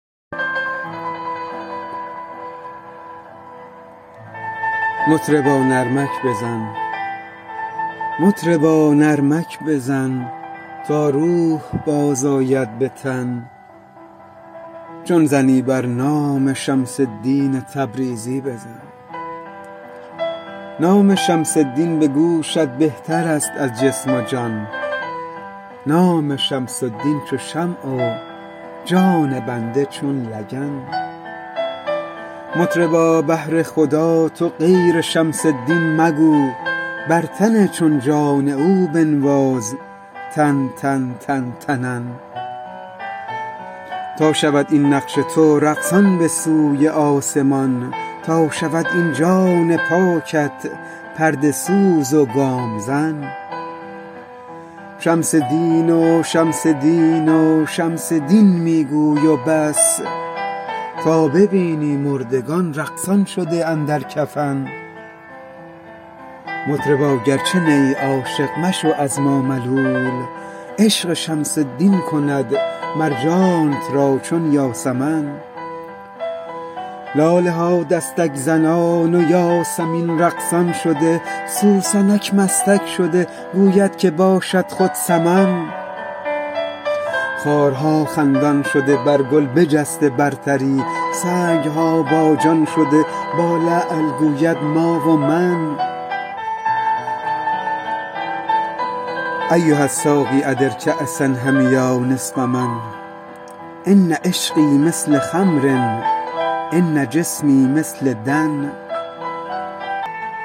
مطربا نرمک بزن تا روح بازآید به تن چون زنی بر نام شمس الدین تبریزی بزن نام شمس الدین به گوشت بهتر است از جسم و جان نام شمس الدین چو شمع و جان بنده چون لگن مطربا بهر خدا تو غیر شمس الدین مگو بر تن چون جان او بنواز تن تن تن تنن تا شود این نقش تو رقصان به سوی آسمان تا شود این جان پاکت پرده سوز و گام زن شمس دین و شمس دین و شمس دین می گوی و بس تا ببینی مردگان رقصان شده اندر کفن مطربا گرچه نیی عاشق مشو از ما ملول عشق شمس الدین کند مر جانت را چون یاسمن لاله ها دستک زنان و یاسمین رقصان شده سوسنک مستک شده گوید که باشد خود سمن خارها خندان شده بر گل بجسته برتری سنگ ها باجان شده با لعل گوید ما و من ایها الساقی ادر کأس الحمیا نصفه ان عشقی مثل خمر ان جسمی مثل دن